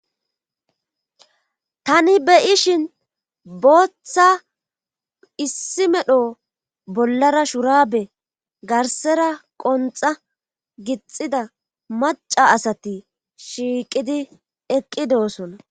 Tani be7ishin booththa issi medho bollara shuraabe garsera qonxa gixida maca asati shiiqidi eqqidoosona.